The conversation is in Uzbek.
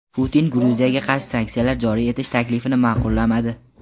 Putin Gruziyaga qarshi sanksiyalar joriy etish taklifini ma’qullamadi.